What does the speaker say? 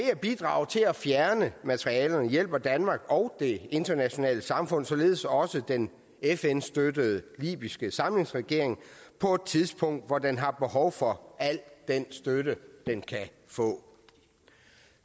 at bidrage til at fjerne materialerne hjælper danmark og det internationale samfund således også den fn støttede libyske samlingsregering på et tidspunkt hvor den har behov for al den støtte den kan få